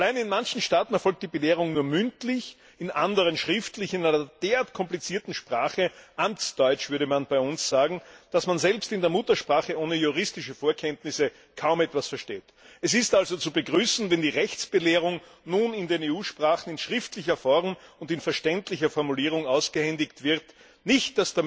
Allein in manchen Staaten erfolgt die Belehrung nur mündlich, in anderen schriftlich in einer derart komplizierten Sprache Amtsdeutsch würde man bei uns sagen dass man selbst in der Muttersprache ohne juristische Vorkenntnisse kaum etwas versteht. Es ist also zu begrüßen, wenn die Rechtsbelehrung nun in den EU Sprachen in schriftlicher Form und in verständlicher Formulierung ausgehändigt wird nicht